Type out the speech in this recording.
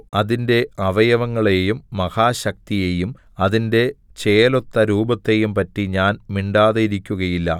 അതിന്റെ അവയവങ്ങളെയും മഹാശക്തിയെയും അതിന്റെ ചേലൊത്ത രൂപത്തെയും പറ്റി ഞാൻ മിണ്ടാതിരിക്കുകയില്ല